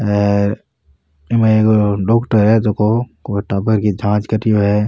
हेर इक मायने कोई डॉक्टर है जको कोई टाबर की जांच कर रियो है।